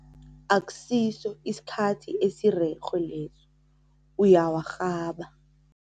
Akusiso isikhathi esirerhe leso, uyawarhaba.